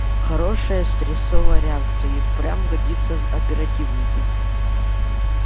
хорошая стрессовая реакция и впрямь годится в оперативники